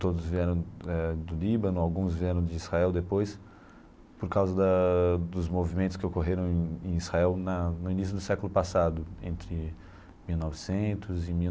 Todos vieram eh do Líbano, alguns vieram de Israel depois, por causa da dos movimentos que ocorreram em em Israel na no início do século passado, entre mil novecentos e mil.